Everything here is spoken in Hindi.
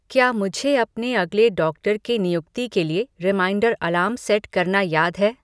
क्या मुझे अपने अगले डॉक्टर के नियुक्ति के लिए रिमाइंडर अलार्म सेट करना याद है